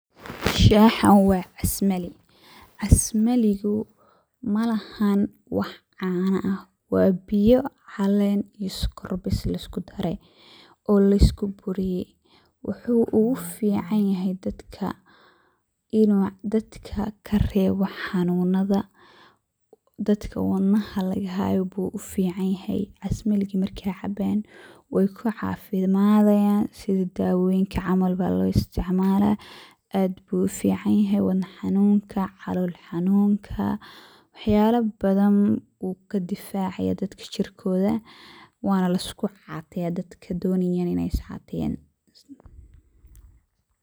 Shaaxan wa casmali, casmaligu malahan wax caano ah wa biyo caleen iyo sokor bees laiskudaray oo laiskuburiyey, wuxu ufican yahay inu dadka karewo xanunada dadka wadnnaha lagahayo ayu ufican yahay casmaliga markey cabayan wey kucafimadayan sidii dawoyinka camal aya lositicmala aad ayu ufican yahay wadna xanunka calool xanunka wax yalo badan ayu kadifacaya dadka jirkoda wana laiskucateya dadka donaya iney iscateyan.